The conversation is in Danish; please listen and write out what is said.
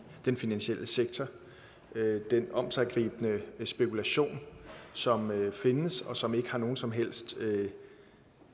den finansielle sektor med den omsiggribende spekulation som findes og som ikke har nogen som helst